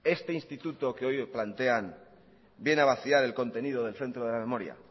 este instituto que hoy plantean viene a vaciar el contenido del centro de la memoria